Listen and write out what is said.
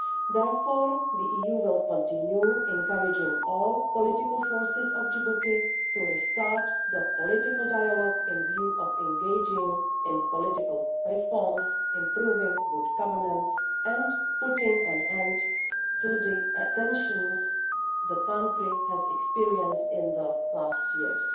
Therefore, the EU will continue encouraging all political forces in Djibouti to restart the political dialogue in view of engaging in political reforms, improving good governance and putting an end to the tensions the country has experienced in the last years.